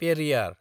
Periyar